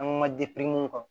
An ma mun kan